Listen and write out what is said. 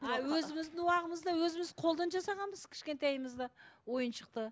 а өзіміздің өзіміз қолдан жасағанбыз кішкентайымызда ойыншықты